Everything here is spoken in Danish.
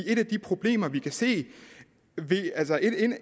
et af de problemer vi kan se